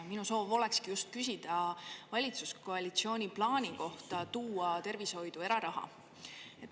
Minu soov olekski just küsida valitsuskoalitsiooni plaani kohta tuua tervishoidu eraraha.